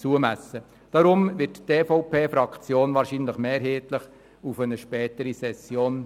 Darum tendieren wir von der EVP-Fraktion wahrscheinlich mehrheitlich zur Verschiebung auf eine spätere Session.